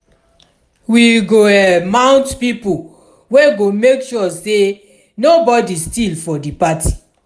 we go mount pipo wey go make sure sey nobodi steal for di party.